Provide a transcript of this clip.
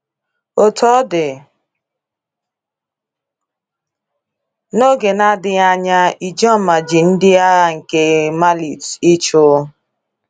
Otú ọ dị, n’oge na-adịghị anya, Ijoma ji ndị agha ike malit ị chụ.